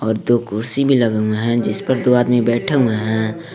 और दो कुर्सी भी लगे हुए हैं जिस पर दो आदमी बैठा हुए हैं।